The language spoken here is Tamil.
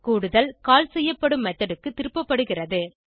கூடுதல் கால் செய்யப்படும் மெத்தோட் க்கு திருப்பப்படுகிறது